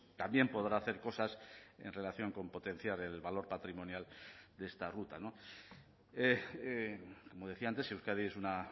también podrá hacer cosas en relación con potenciar el valor patrimonial de esta ruta como decía antes euskadi es una